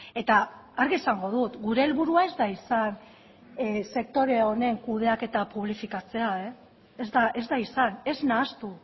eta argi esango dut gure helburua ez da izan sektore honen kudeaketa publifikatzea ez da izan ez nahastu